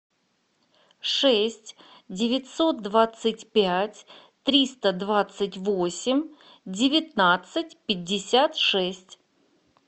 шесть девятьсот двадцать пять триста двадцать восемь девятнадцать пятьдесят шесть